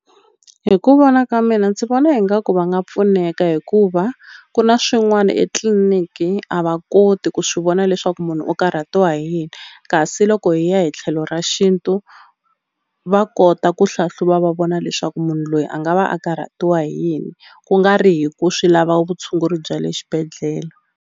Hi ku vona ka mina ndzi vona ingaku va nga pfuneka hikuva ku na swin'wani etliliniki a va koti ku swi vona leswaku munhu u karhatiwa hi yini kasi loko hi ya hi tlhelo ra xintu va kota ku hlahluva va vona leswaku munhu loyi a nga va a karhatiwa hi yini ku nga ri hi ku swi lava vutshunguri bya le xibedhlele.